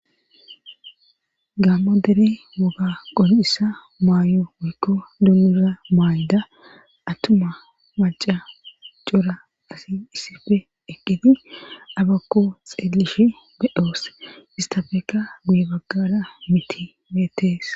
gaammo dere woga qonissa maayo woykko dunnuza maayda attuma maca cora asi issife eqqiti abakko xeelishi bedoos istafeka buye baggada miti beetees